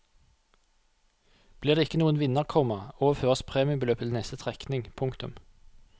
Blir det ikke noen vinner, komma overføres premiebeløpet til neste trekning. punktum